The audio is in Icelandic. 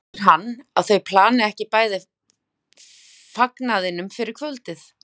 heldur hann að þau plani ekki bæði fagnaðinn fyrir kvöldið?